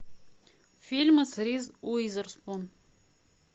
фильм с риз уизерспун